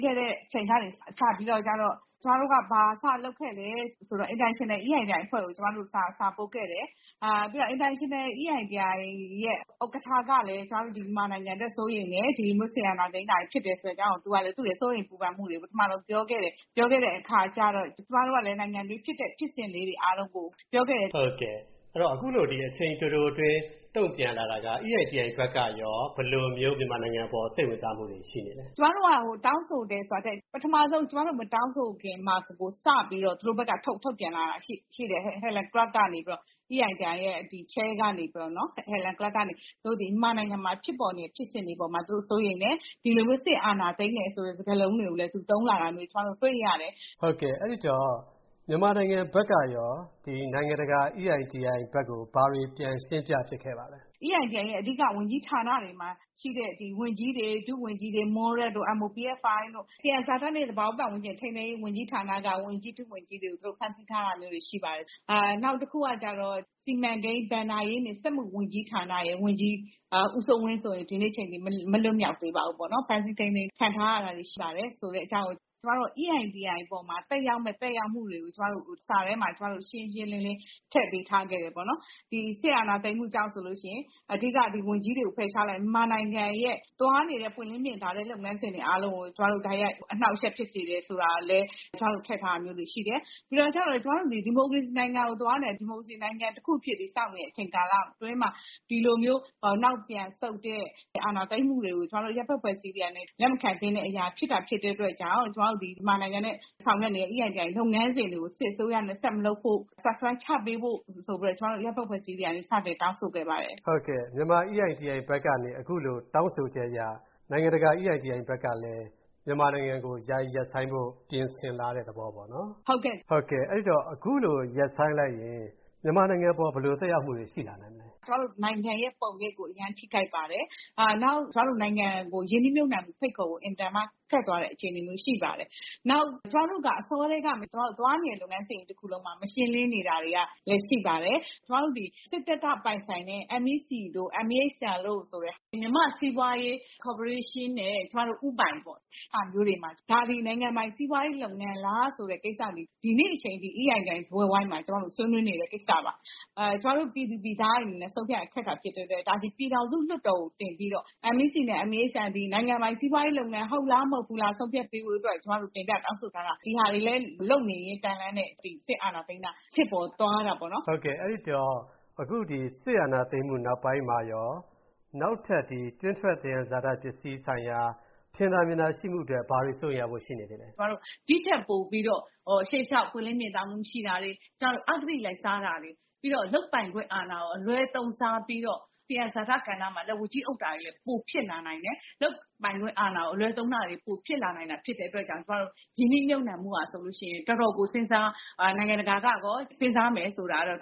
ခဲ့တဲ့အချိန်ကနေ စပြီးတော့ ကျမတို့ ဘာစလုပ်ခဲ့သလဲဆိုတော့ International EITI အဖွဲ့ကို ကျမတို့က စာပို့ခဲ့တယ် ပြီးတော့ International EITI အဖွဲ့ရဲ့ ဥက္ကဋ္ဌကလည်း ကျမတို့ မြန်မာနိုင်ငံအတွက် စိုးရိမ်တယ်။ ဒီလို အာဏာသိမ်းတာကို သူ့ရဲ့ စိုးရိမ်ပူပန်မှုတွေကို ပထမဆုံးပြောခဲ့တယ်။ ပြောခဲ့တဲ့အခါကျတော့ ကျမတို့ကလည်း နိုင်ငံအတွင်းဖြစ်တဲ့ ဖြစ်စဉ်လေးတွေ အားလုံးကို ပြောခဲ့တယ်။ ဟုတ်ကဲ့ အခုလို အချိန်တိုတိုအတွင်း တုံ့ပြန်လာတာက EITI အဖွဲ့ကရော ဘယ်လိုမျိုး မြန်မာနိုင်ငံအပေါ် စိတ်ဝင်စားမှုတွေ ရှိနေသလဲ။ ကျမတို့ တောင်းဆိုတယ်ဆိုတာထက် ပထမဦးဆုံး ကျမတို့ မတောင်းဆိုခင်မှာ စပြီးတော့ သူတို့ဘက်က ထုတ်ပြန်လာတာရှိတယ်။ EITI ရဲ့ Chair ဖြစ်တဲ့ Helen Clark ကနေပြီးတော့ သူတို့သည် မြန်မာနိုင်ငံမှာ ဖြစ်ပေါ်နေတဲ့ ဖြစ်စဉ်တွေ အပေါ်မှာ သူတို့ စိုးရိမ်တယ်။ ဒီလိုမျိုး စစ်အာဏာသိမ်းတယ်ဆိုတဲ့ စကားလုံးတွေကိုလည်း သူ သုံးလာတာမျိုး ကျမတို့ တွေ့ရတယ်။ ဟုတ်ကဲ့ အဲဒီတော့ မြန်မာနိုင်ငံဘက်ကရော ဒီလိုမျိုး နိုင်ငံတကာ EITI ဘက်ကို ဘာတွေပြန်ရှင်းပြဖြစ်ခဲ့ပါသလဲ။ EITI ရဲ့အဓိက ဝန်ကြီးဌာနတွေမှာရှိတဲ့ ဝန်ကြီးတွေ ဒုဝန်ကြီးတွေ MOPFI တို့ သံယံဇာတနဲ့ သဘာဝပတ်ဝန်းကျင်နဲ့ ထိန်းသိမ်းရေး ဝန်ကြီးဌာနက ဝန်ကြီးတွေ ဒုဝန်ကြီးတွေကို သူတို့ ဖမ်းဆီးထားတာမျိုးတွေရှိပါတယ်။ နောက်တခုကတော့ စီမံကိန်း၊ ဘဏ္ဍာရေးနဲ့ စက်မှုဝန်ကြီး ဌာနက ဝန်ကြီး ဦးစိုးဝင်းဆိုရင် ဒီကနေ့အချိန်အထိ မလွှတ်မြောက်သေးပါဘူး။ ဖမ်းဆီးထိန်းသိမ်းခံထားရတာတွေရှိပါတယ် ဆိုတဲ့အကြောင်းကို ကျမတို့ EITI အပေါ်မှာ သက်ရောက်မယ့် သက်ရောက်မှုတွေကို ကျမတို့ စာထဲမှာ ကျမတို့ ရှင်းရှင်းလင်းလင်း ထည့်ပေးထားခဲ့တယ်ပေါ့နော်။ ဒီစစ်အာဏာသိမ်းမှုကြောင့် အဓိက ဝန်ကြီးတွေကို ဖယ်ရှားလိုက်တယ် ။ မြန်မာနိုင်ငံရဲ့ သွားနေတဲ့ ပွင့်လင်းမြင်သာတဲ့ လုပ်ငန်းစဉ်တွေအားလုံးကို ကျမတို့ တိုက်ရိုက်အနှောင့်အယှက်ဖြစ်စေတယ်ဆိုတာလည်း ကျမတို့ ထည့်ထားတာမျိုးတွေရှိတယ်။ ဒါကျတော့ ကျမတို့သည် ဒီမိုကရေစီနိုင်ငံကိုသွားနေတာ ၊ ဒီမိုကရေစီနိုင်ငံတခုအဖြစ် တည်ဆောက်နေတဲ့ အချိန်ကာလအတွင်းမှာ ဒီလိုမျိုးနောက်ပြန်ဆုတ်တဲ့ အာဏာသိမ်းမှုတွေကို ကျမတို့ အရပ်ဘက်အဖွဲ့အစည်းတွေကနေ လက်မခံသင့်တဲ့အရာဖြစ်တာဖြစ်တဲ့အတွက် ကျမတို့ မြန်မာနိုင်ငံနဲ့ ဆောင်ရွက်နေတဲ့ EITI လုပ်ငန်းစဉ်တွေကို စစ်အစိုးရနဲ့ ဆက်မလုပ်ဖို့ suspend ချပေးဖို့ ဆိုပြီးတော့ ကျမတို့ အရပ်ဘက်အဖွဲ့အစည်းတွေကနေ စတင်တောင်းဆိုခဲ့ပါတယ်။ ဟုတ်ကဲ့ မြန်မာ EITI ဘက်ကနေ အခုလို တောင်းဆိုချက်အရ နိုင်ငံတကာ EITI ဘက်ကလည်း မြန်မာနိုင်ငံကို ယာယီရပ်ဆိုင်းဖို့ ပြင်ဆင်လာတဲ့သဘောပေ့ါနော်။ ဟုတ်ကဲ့ အဲဒီတော့ အခုလို ရပ်ဆိုင်းလိုက်ရင် မြန်မာနိုင်ငံအပေါ် ဘယ်လိုသက်ရောက်မှုတွေ ရှိလာနိုင်မလဲ။ ကျမတို့ နိုင်ငံရဲ့ ပုံရိပ်ကို အရမ်းထိခိုက်ပါတယ်။ နောက် ကျမတို့ နိုင်ငံကို ရင်းနှီးမြှုပ်နှံမှု ဖိတ်ခေါ်ဖို့ အင်မတန်မှ ခက်သွားတဲ့အခြေအနေမျိုးရှိပါတယ်။ နောက် ကျမတို့က အစောကတည်းကနေ သွားတဲ့နေတဲ့ လုပ်ငန်းစဉ်ကြီးတခုလုံးမှာ မရှင်းလင်းနေတာတွေက ရှိပါတယ်။ ကျမတို့သည် စစ်တပ်က ပိုင်ဆိုင်တဲ့ MEC တို့ MEHL ဆိုတဲ့ မြန်မာ့စီးပွားရေး ကော်ပိုရေးရှင်းနဲ့ ဦးပိုင်ပေါ့ ။ ဒါတွေက နိုင်ငံပိုင် စီးပွားရေးလုပ်ငန်းလားဆိုတာ ဒီနေ့အချိန်အထိ EITI စားပွဲဝိုင်းမှာ ဆွေးနွေးနေတဲ့ ကိစ္စပါ။ ကျမတို့ ပြည်သူပြည်သားတွေအနေနဲ့ ဆုံးဖြတ်ရတာ ခက်တဲ့အတွက် ဒါသည် ပြည်ထောင်စုလွှတ်တော်ကို တင်ပြီးတော့ MEC နဲ့ MEHL သည် နိုင်ငံပိုင် စီးပွားရေးလုပ်ငန်း ဟုတ်လား မဟုတ်ဘူးလား ဆုံးဖြတ်ပေးဖို့အတွက် ကျမတို့ တင်ပြတောင်းဆိုထားတာ။ ဒါတွေလည်း လုပ်နေရင်းတန်းလန်းနဲ့ ဒီစစ်အာဏာသိမ်းတာ ဖြစ်သွားတာပေါ့နော်။ ဟုတ်ကဲ့ အဲဒီတော့ အခုဒီ စစ်အာဏာသိမ်းမှု နောက်ပိုင်းမှာရော နောက်ထပ်ဒီ တွင်းထွက် သံယံဇာတပစ္စည်းဆိုင်ရာ ထင်သာမြင်သာရှိမှုအတွက် ဘာတွေ စိုးရိမ်ရဖွယ်ရှိနေသေးသလဲ။ ကျမတို့ ဒီထက်ပိုပြီးတော့ ရှေ့လျောက် ပွင့်လင်းမြင်သာမှု မရှိတာတွေ၊ ကျမတို့ အဂတိလိုက်စားတာတွေ ပြီးတော့ လုပ်ပိုင်ခွင့်အာဏာကို အလွဲသုံးစားပြီးတော့ သံယံဇာတ ကဏ္ဍမှာ လက်ဝါးကြီးအုပ်တာတွေ ပိုဖြစ်လာနိုင်တယ်။ လုပ်ပိုင်ခွင့်အာဏာကို အလွဲသုံးတာတွေ ပိုဖြစ်လာနိုင်တာ ဖြစ်တဲ့အတွက် ကျမတို့ ရင်းနှီးမြှုပ်နှံမှုက ဆိုရင် တော်တော်ကို နိုင်ငံတကာကရော စဉ်းစားမယ်ဆိုတာကတော့